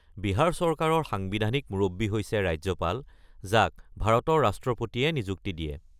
বিহাৰ চৰকাৰৰ সাংবিধানিক মুৰব্বী হৈছে ৰাজ্যপাল, যাক ভাৰতৰ ৰাষ্ট্ৰপতিয়ে নিযুক্তি দিয়ে।